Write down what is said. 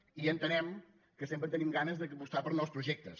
i entenem que sempre tenim ga·nes d’apostar per nous projectes